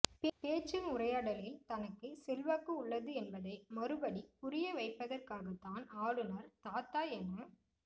பேச்சின் உரையாடலில் தனக்கு செல்வாக்கு உள்ளது என்பதை மறுபடி புரியவிவைப்பதற்காகத்தான் ஆளுநர் தாத்தா என